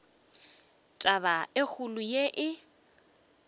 taba e kgolo ye e